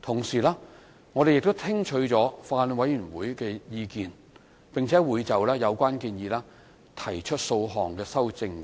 同時，我們亦聽取法案委員會的意見，會就有關建議提出數項修正。